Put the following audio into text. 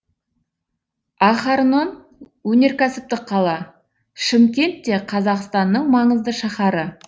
ахарнон өнеркәсіптік қала шымкент те қазақстанның маңызды шаһары